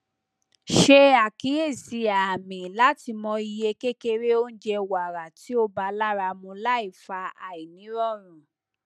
se akiyesi aami lati mo iye kekere ounje wara ti o ba laramu laifa ainirorun